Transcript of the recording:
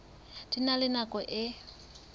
di na le nako e